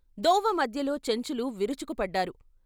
దోవ మధ్యలో చెంచులు విరుచుకు పడ్డారు.